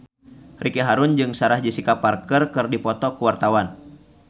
Ricky Harun jeung Sarah Jessica Parker keur dipoto ku wartawan